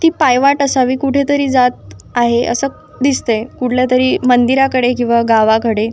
ती पायवाट असावी कुठेतरी जात असावं असं दिसतंय कुठल्यातरी मंदिराकडे किवा गावाकडे.